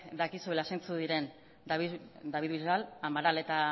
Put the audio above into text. dakizuela zeintzuk diren david bisbal amaral eta